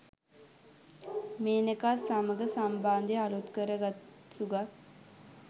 මේනකා සමඟ සම්බන්ධය අලුත් කර ගත් සුගත්